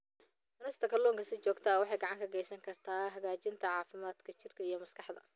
Cunista kalluunka si joogto ah waxay gacan ka geysan kartaa hagaajinta caafimaadka jidhka iyo maskaxda.